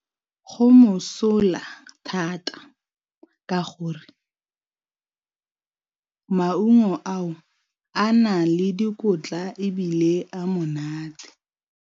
Go mosola thata, ka gore maungo ao a na le dikotla ebile a monate.